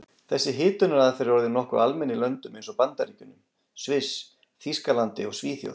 Þessi hitunaraðferð er orðin nokkuð almenn í löndum eins og Bandaríkjunum, Sviss, Þýskalandi og Svíþjóð.